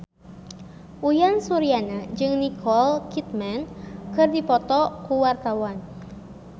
Uyan Suryana jeung Nicole Kidman keur dipoto ku wartawan